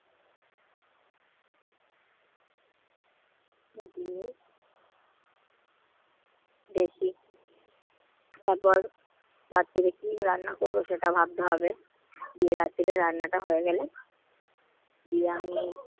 দেখি তারপর রাত্রে কি রান্না করব সেটা ভাবতে হবে। বিয়ের রাত্রিতে রান্নাটা হয়ে গেলে বিরানি,